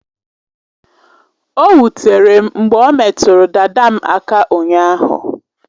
O wutere m mgbe o metụrụ dada m aka ụnyaahụ.